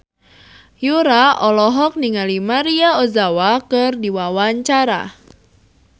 Yura olohok ningali Maria Ozawa keur diwawancara